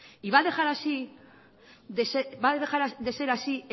y va a dejar de ser así